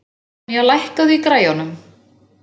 Stefanía, lækkaðu í græjunum.